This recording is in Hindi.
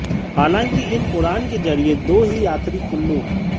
हालांकि इस उड़ान के जरिए दो ही यात्री कुल्लू